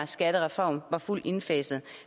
skattereform var fuldt indfaset